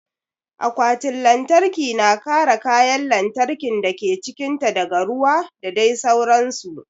Akwatin lantarki na kare kayan lantarkin dake cikin ta daga ruwa da dai sauran su